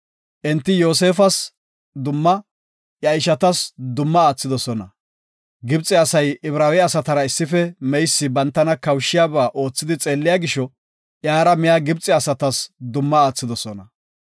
Enti Yoosefas dumma, iya ishatas dumma aathidosona. Gibxe asay Ibraawe asatara issife meysi bantana kawushiyaba oothi xeelliya gisho iyara miya Gibxe asatas dumma aathidosona.